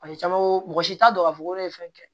Paseke caman mɔgɔ si t'a dɔn k'a fɔ ko ne ye fɛn kɛ